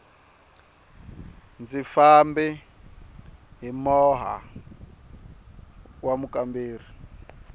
ndzi fambe hi moha wa mukamberi